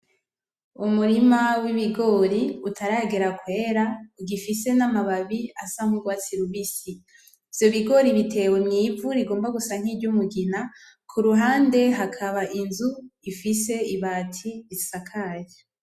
Umurima w'ibigori utaragera kwera, bigifise n'amababi asa n'urwatsi rubisi. Ivyo bigori bitewe mw'ivu rigomba gusa n'iryumugina, ku ruhande hakaba inzu ifise ibati risakaye.